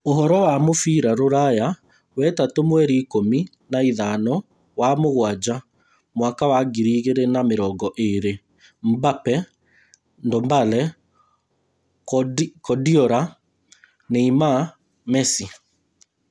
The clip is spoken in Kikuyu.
Ũhoro wa mũbira rũraya wetatũ mweri ikũmi na ithano wa-mũgwanja Mwaka wa ngiri igĩrĩ na mĩrongo ĩĩrĩ: Mbappe, Ndombele, kuardiola, Neymar, Messi,